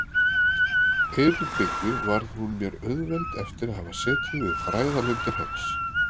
Eyrbyggju varð hún mér auðveld eftir að hafa setið við fræðalindir hans.